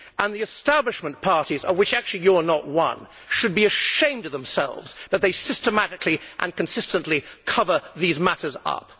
And the establishment parties, of which actually you are not one, should be ashamed of themselves that they systematically and consistently cover these matters up.